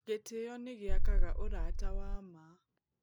Gĩtĩo nĩ gĩakaga ũrata wa ma.